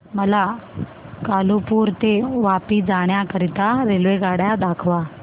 मला कालुपुर ते वापी जाण्या करीता रेल्वेगाड्या दाखवा